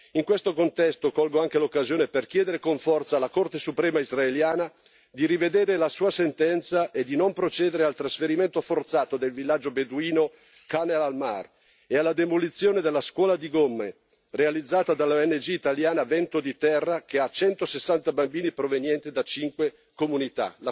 In questo contesto, colgo anche l'occasione per chiedere con forza alla Corte suprema israeliana di rivedere la sua sentenza e di non procedere al trasferimento forzato del villaggio beduino di Khan al Ahmar e alla demolizione della scuola di Gomme, realizzata dall'ONG italiana Vento di terra, che ha 160 bambini provenienti da 5 comunità.